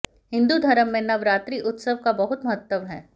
हिंदू धर्म में नवरात्रि उत्सव का बहुत महत्व है